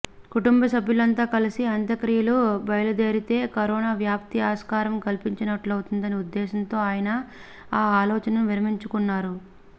కుటుంబ సభ్యులంతా కలిసి అంత్యక్రియలకు బయలుదేరితే కరోనా వ్యాప్తికి ఆస్కారం కల్పించినట్టవుతుందన్న ఉద్దేశంతో ఆయన ఆ ఆలోచనను విరమించుకున్నారు